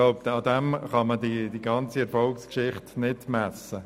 Aber daran kann man diese Erfolgsgeschichte nicht messen.